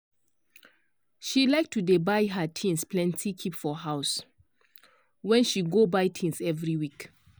she like to dey buy her things plenty keep for house wen she go buy things every week.